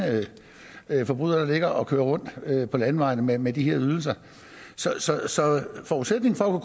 forbrydere der ligger og kører rundt på landevejene med med de her ydelser så forudsætningen for at